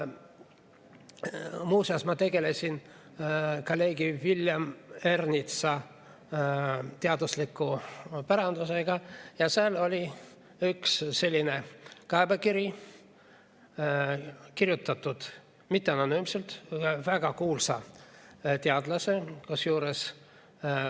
Muu seas ma tegelesin kolleeg Villem Ernitsa teadusliku pärandiga ja seal oli üks selline kaebekiri kirjutatud, mitte anonüümselt, vaid väga kuulsa teadlase poolt.